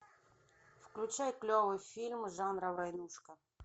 включай клевый фильм жанра войнушка